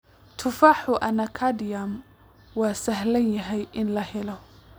Tufaaxa anacardium waa sahlan yahay in la helo.